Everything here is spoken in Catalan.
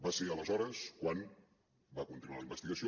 va ser aleshores quan va continuar la investigació